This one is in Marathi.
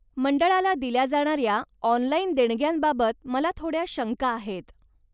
मंडळाला दिल्या जाणाऱ्या ऑनलाइन देणग्यांबाबत मला थोड्या शंका आहेत.